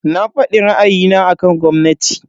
Na fadi ra'ayina akan gwamnati.